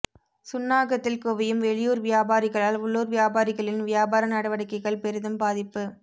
சுன்னாகத்தில் குவியும் வெளியூர் வியாபாரிகளால் உள்ளூர் வியாபாரிகளின் வியாபார நடவடிக்கைகள் பெரிதும் பாதிப்பு